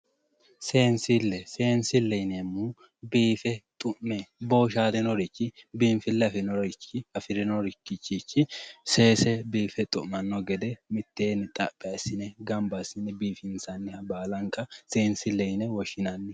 Seensille yineemmohu biife xu'me woy booshaalinorichi biinfille afirinoricho seese biife xu'manno gede mitteenni gamba assine xaphi assine biifinsanniha baala seensilleho yine woshshinanni